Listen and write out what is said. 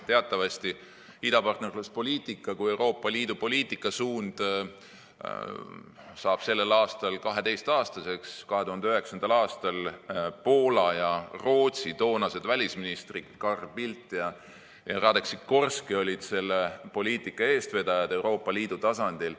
Teatavasti saab idapartnerluspoliitika kui Euroopa Liidu poliitikasuund sellel aastal 12‑aastaseks, 2009. aastal olid Poola ja Rootsi toonased välisministrid Carl Bildt ja Radek Sikorski selle poliitika eestvedajad Euroopa Liidu tasandil.